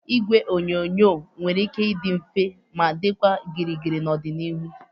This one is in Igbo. Igwe onyonyo nwere ike ịdị mfe ma dịkwa gịrịgịrị n'ọdịnihu